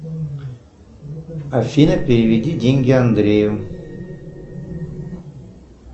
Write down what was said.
афина переведи деньги андрею